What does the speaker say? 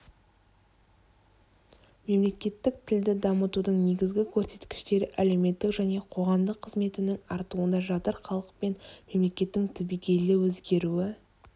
мемлекеттік тілді дамытудың негізгі көрсеткіштері әлеуметтік және қоғамдық қызметінің артуында жатыр халық пен мемлекеттің түбегейлі өзгеруі